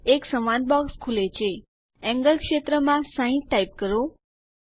એક સંવાદ બોક્સ ખુલે છે એન્ગલ ક્ષેત્રમાં 60 ટાઇપ કરો